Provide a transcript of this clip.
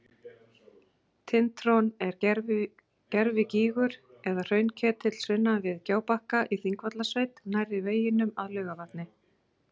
Tintron er gervigígur eða hraunketill sunnan við Gjábakka í Þingvallasveit nærri veginum að Laugarvatni.